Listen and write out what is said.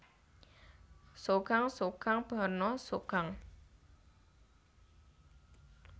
Tsogang tsogang banna tsogang